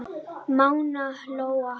Mána Lóa.